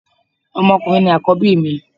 Ọmọ ọkùnrin ni Àkọ́bí mi